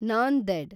Nanded